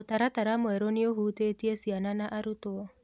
Mũtaratara mwerũ nĩũhutĩtie ciana na arutwo